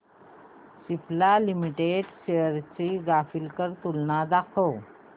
Cipla limited shares ची graphical तुलना दाखव